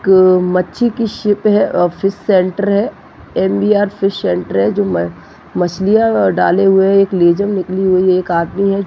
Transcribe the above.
एक मच्छी की शिप है आ फिश सेन्टर है फिश सेटर है जो मछलिया व डाले हुए है एक निकली हुई है एक आदमी है।